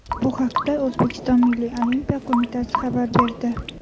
Bu haqda O‘zbekiston Milliy olimpiya qo‘mitasi xabar berdi .